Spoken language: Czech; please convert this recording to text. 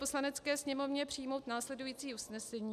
Poslanecké sněmovně přijmout následující usnesení: